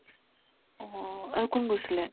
অ, আৰু কোন গৈছিলে ?